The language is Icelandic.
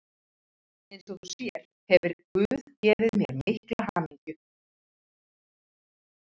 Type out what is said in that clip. Eins og þú sér hefir guð gefið mér mikla hamingju.